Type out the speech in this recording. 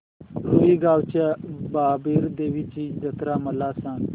रुई गावच्या बाबीर देवाची जत्रा मला सांग